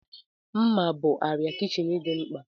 Mma bụ arịa kichin dị mkpa.